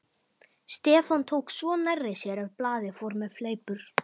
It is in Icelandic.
Stefán tók svo nærri sér ef blaðið fór með fleipur.